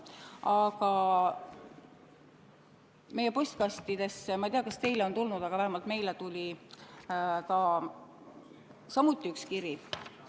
Aga meie postkastidesse – ma ei tea, kas teile on tulnud, aga vähemalt meile tuli samuti üks teine kiri.